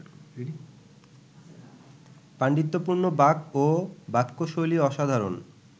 পাণ্ডিত্যপূর্ণ বাক ও বাক্যশৈলী অসাধারণ